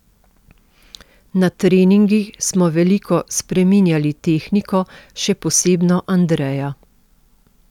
Na treningih smo veliko spreminjali tehniko, še posebno Andreja.